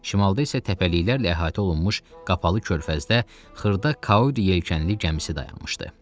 Şimalda isə təpəliklərlə əhatə olunmuş qapalı körfəzdə xırda Kauri yelkənli gəmisi dayanmışdı.